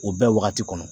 U bɛɛ wagati kɔnɔ